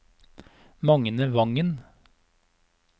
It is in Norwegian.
Magne Vangen